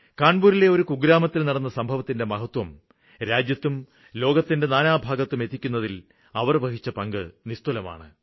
കാണ്പൂരിലെ ഒരു കുഗ്രാമത്തില് നടന്ന സംഭവത്തിന്റെ മഹത്വം രാജ്യത്തും ലോകത്തിന്റെ നാനാഭാഗത്തും എത്തിക്കുന്നതില് അവര് വഹിച്ച പങ്ക് നിസ്തുലമാണ്